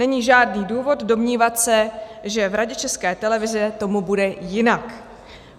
Není žádný důvod domnívat se, že v Radě České televize tomu bude jinak.